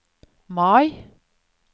Mai